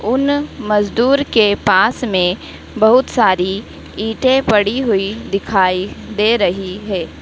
उन मजदूर के पास में बहुत सारी ईटे पड़ी हुई दिखाई दे रही है।